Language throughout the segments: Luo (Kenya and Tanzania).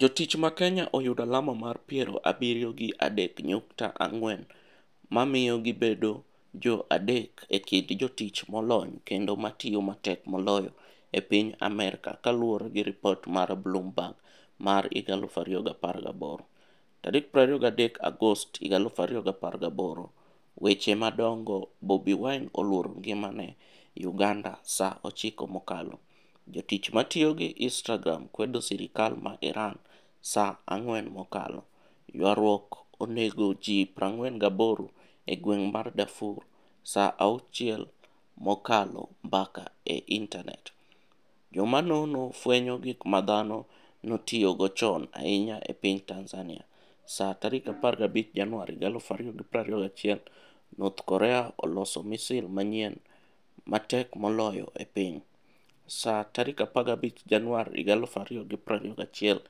Jotich ma Kenya oyudo alama mar piero abiriyo gi adek nyukta ang'wen ma miyo gibedo jo adek e kind jotich molony kendo ma tiyo matek moloyo e piny Amerka kaluwore gi ripot mar Bloombeerg mar 201823 Agost 2018 Weche madongo Bobi Wine 'oluoro ngimane' UgandaSa 9 mokaloJotich ma tiyo gi Instagram kwedo sirkal mar IranSa 4 mokalo Ywaruok onego ji 48 e gweng' mar DarfurSa 6 mokalo Mbaka e IntanetJoma nono fwenyo gik ma dhano notiyogo chon ahinya e piny TanzaniaSa 15 Januar 2021 North Korea oloso misil manyien 'ma tek moloyo e piny'Sa 15 Januar 2021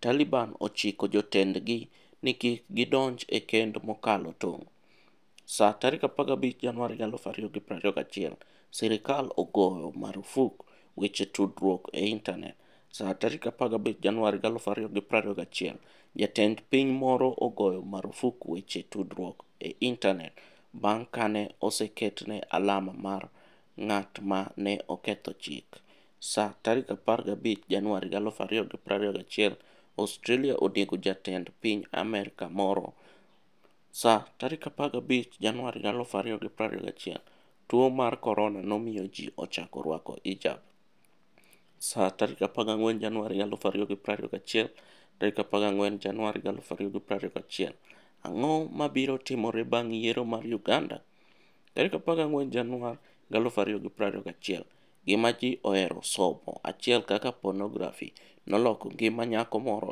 Taliban ochiko jotendgi ni kik gidonj e kend mokalo tong'Sa 15 Januar 2021 Sirkal ogoyo marfuk weche tudruok e intanetSa 15 Januar 2021 Jatend piny moro ogoyo marfuk weche tudruok e intanet bang' ka ne oseketne alama mar "ng'at ma ne oketho chik"Sa 15 Januar 2021 Australia onego jatend piny Amerka moroSa 15 Januar 2021 tuo mar Korona nomiyo ji ochako rwako hijabSa 14 Januar 2021 14 Januar 2021 Ang'o mabiro timore bang' yiero mar Uganda? 14 Januar 2021 Gima Ji Ohero Somo 1 Kaka Ponografi Noloko Ngima Nyako Moro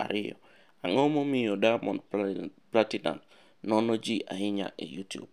2 Ang'o Momiyo Diamond Platinumz Nono Ji Ahinya e Youtube?